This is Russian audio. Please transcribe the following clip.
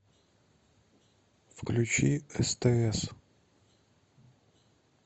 включи стс